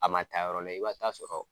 A man taa yɔrɔ la i ba t'a sɔrɔ